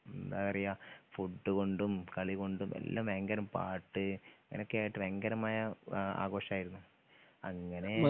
എന്താ പറയാ ഫുഡ് കൊണ്ടും കളി കൊണ്ടും എല്ലാ ഭയങ്കര പാട്ട് ഇങ്ങനെയെക്കെയായിട്ട് ഭയങ്കരമായ ആ ആഘോഷമായിരുന്നു അങ്ങനെ